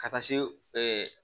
Ka taa se